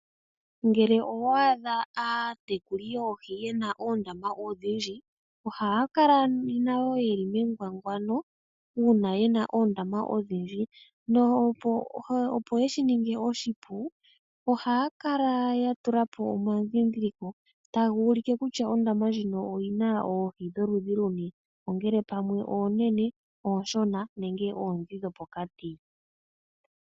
Ngele owa adha aatekuli yoohi ye na oondama odhindji ohaya kala nayo ye li mengwangwano uuna ye na oondama odhindji. Opo ye shi ninge oshipu ohaya kala ya tula po omadhindhiliko taga ulike kutya ondama ndjino oyi na oohi dholudhi luni, ongele pamwe oonene, ooshona nenge oondhi dhopokati.